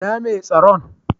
Inna Mai tsaron?